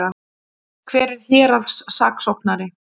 Hver er héraðssaksóknari?